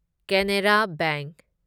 Canara bank